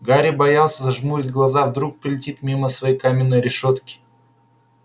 гарри боялся зажмурить глаза вдруг пролетит мимо своей каминной решётки